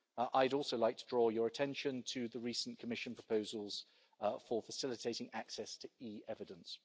I'd also like to draw your attention to the recent Commission proposals for facilitating access to e-evidence.